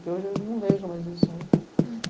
Que hoje eu não vejo mais isso, né? Uhum